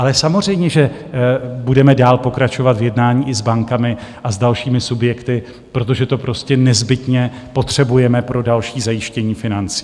Ale samozřejmě že budeme dál pokračovat v jednání i s bankami a s dalšími subjekty, protože to prostě nezbytně potřebujeme pro další zajištění financí.